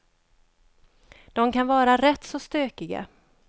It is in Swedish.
De kan vara rätt så stökiga.